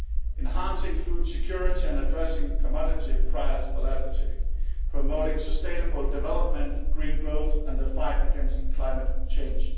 enhancing food security and addressing commodity price volatility promoting sustainable development, green growth and the fight against climate change.